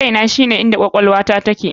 KAINA shine inda kwakwalwata take.